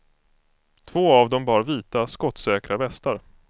Två av dem bar vita, skottsäkra västar.